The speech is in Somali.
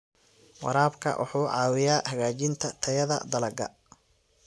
Waraabka wuxuu caawiyaa hagaajinta tayada dalagga.